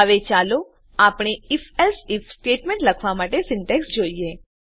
હવે ચાલો આપણે IfElse આઇએફ સ્ટેટમેંટ લખવા માટેની સીન્ટેક્ષ જોઈએ